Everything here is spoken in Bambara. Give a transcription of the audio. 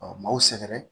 Ɔ m'aw sɛgɛrɛ